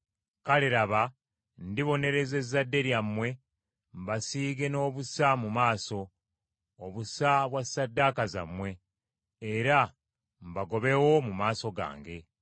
“Kale laba, ndibonereza ezzadde lyammwe, mbasiige n’obusa mu maaso, obusa bwa ssaddaaka zammwe, era mbagobewo mu maaso gange.